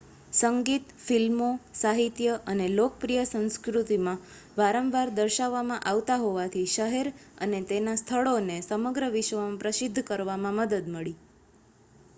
સંગીત ફિલ્મો સાહિત્ય અને લોકપ્રિય સંસ્કૃતિમાં વારંવાર દર્શાવવામાં આવતા હોવાથી શહેર અને તેના સ્થળોને સમગ્ર વિશ્વમાં પ્રસિદ્ધ કરવામાં મદદ મળી